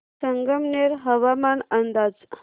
संगमनेर हवामान अंदाज